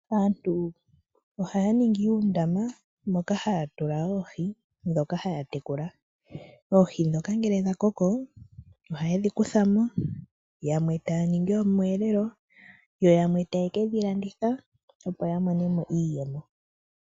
Aantu ohaya ningi uundama moka haya tula oohi dhoka haya tekula , oohi dhoka ngele dha koko, ohaye dhi kutha mo yamwe taya ningi omweelelo yo yamwe taya ke dhi landitha opo ya monemo iiyemo.